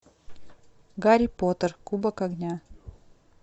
гарри поттер кубок огня